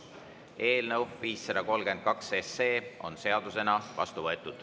Eelnõu 532 on seadusena vastu võetud.